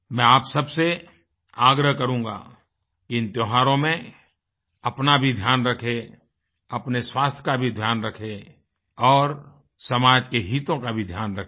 मैं आप सब से आग्रह करूँगा इन त्योहारों में अपना भी ध्यान रखें अपने स्वास्थ्य का भी ध्यान रखें और समाज के हितों का भी ध्यान रखें